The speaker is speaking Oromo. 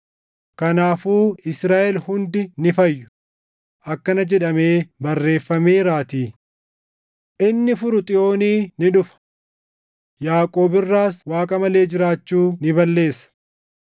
Kanaafuu Israaʼel hundi ni fayyu; akkana jedhamee barreeffameeraatii: “Inni furu Xiyoonii ni dhufa; Yaaqoob irraas Waaqa malee jiraachuu ni balleessa.